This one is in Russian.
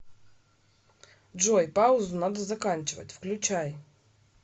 джой паузу надо заканчивать включай